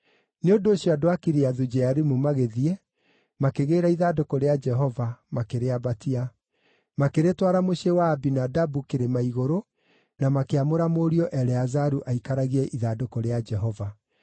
Nĩ ũndũ ũcio andũ a Kiriathu-Jearimu magĩthiĩ, makĩgĩĩra ithandũkũ rĩa Jehova, makĩrĩambatia. Makĩrĩtwara mũciĩ wa Abinadabu kĩrĩma-igũrũ, na makĩamũra mũriũ Eleazaru aikaragie ithandũkũ rĩa Jehova.